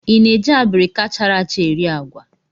I na-eji abirika chara acha eri agwa?